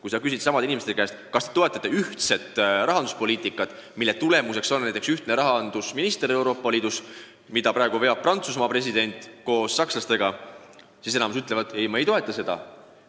Kui küsida samade inimeste käest, kas nad toetavad ühist rahanduspoliitikat, mille kohaselt meil on sisuliselt üks rahandusminister Euroopa Liidus, mida praegu veavad Prantsuse president ja sakslased, siis enamik ütleb: ei, ma ei toeta seda.